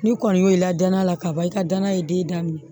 Ni kɔni y' i la danaya la kaban i ka danaya ye den daminɛ